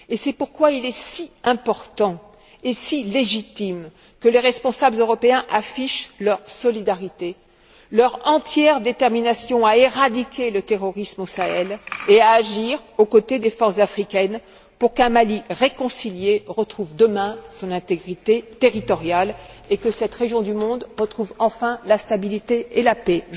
C'est pourquoi il est si important et si légitime que les responsables européens affichent leur solidarité, leur entière détermination à éradiquer le terrorisme au Sahel et à agir aux côtés des forces africaines pour qu'un Mali réconcilié retrouve demain son intégrité territoriale et que cette région du monde retrouve enfin la stabilité et la paix.